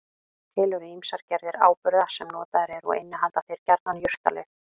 Til eru ýmsar gerðir áburða sem notaðir eru og innihalda þeir gjarnan jurtalyf.